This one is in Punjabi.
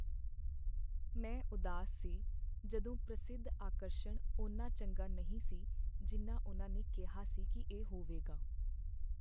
ਮੈਂ ਉਦਾਸ ਸੀ ਜਦੋਂ ਪ੍ਰਸਿੱਧ ਆਕਰਸ਼ਣ ਓਨਾ ਚੰਗਾ ਨਹੀਂ ਸੀ ਜਿੰਨਾ ਉਨ੍ਹਾਂ ਨੇ ਕਿਹਾ ਸੀ ਕੀ ਇਹ ਹੋਵੇਗਾ।